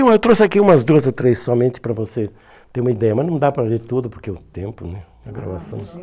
Eu trouxe aqui umas duas ou três somente para você ter uma ideia, mas não dá para ler tudo porque é o tempo né, a gravação.